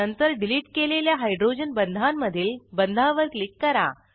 नंतर डिलीट केलेल्या हायड्रोजन बंधांमधील बंधावर क्लिक करा